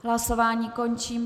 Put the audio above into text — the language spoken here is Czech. Hlasování končím.